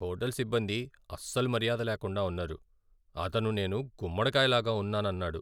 Hotel సిబ్బంది అస్సలు మర్యాద లేకుండా ఉన్నారు. అతను నేను గుమ్మడికాయ లాగా ఉన్నానన్నాడు.